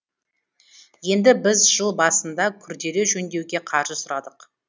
енді біз жыл басында күрделі жөндеуге қаржы сұрадық